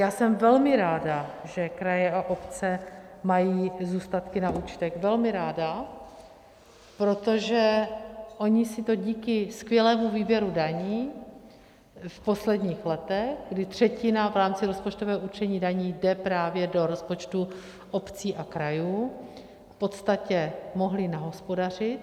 Já jsem velmi ráda, že kraje a obce mají zůstatky na účtech, velmi ráda, protože ony si to díky skvělému výběru daní v posledních letech, kdy třetina v rámci rozpočtového určení daní jde právě do rozpočtů obcí a krajů, v podstatě mohly nahospodařit.